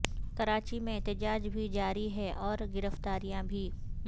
کراچی میں احتجاج بھی جاری ہے اور گرفتاریاں بھی